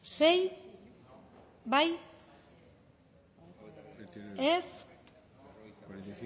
sei bozkatu dezakegu